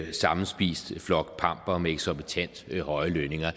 en sammenspist flok pampere med eksorbitant høje lønninger